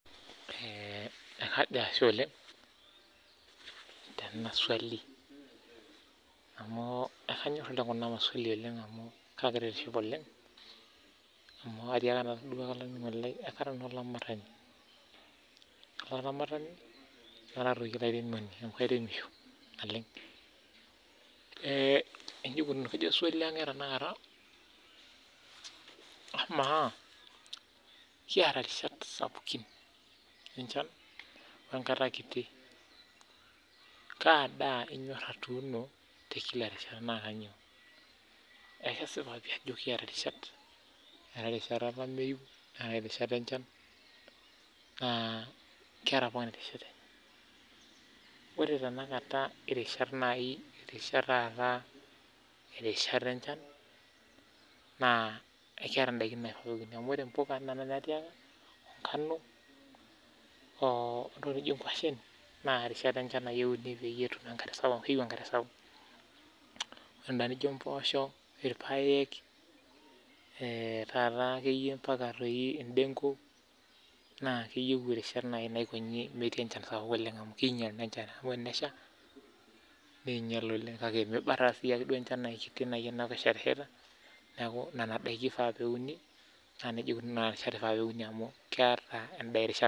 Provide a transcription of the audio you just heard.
Kajo ashe oleng' tenaswali ama kara olairemoni Keeta pookin Irish irishat enye ore irishat enchan naa keetai indaiki nauni naa ore imbuka nganu oo ntokiting nijo ngwashen naa rishat enchan euni amu keyieu enkare sapuk Ore endaa nijo mboosho ilpaek mbaka indengu naa keyieu nemetii enchan sapuk oleng amu kiinyial naa enchan amu ore peesha ninyial oleng kake miba taa siininye enchan niaku nena daiki naa ifaa neuni amu keeta imbaa erishata